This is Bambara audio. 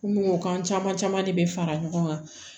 Mun o kan caman caman de bɛ fara ɲɔgɔn kan